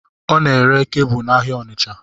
Ọ n'ere kebụl n'ahịa Ọnitsha